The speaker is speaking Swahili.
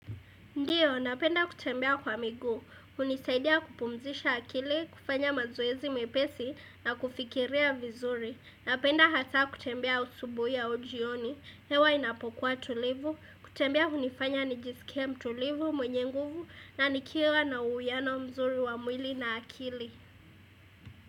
Ndiyo, napenda kutembea kwa miguu, unisaidia kupumzisha akili, kufanya mazoezi mepesi na kufikiria vizuri. Napenda hata kutembea usubuhi au ujioni, hewa inapokua tulivu, kutembea unifanya nijisikia mtulivu mwenye nguvu na nikira na uyano mzuri wa mwili na akili.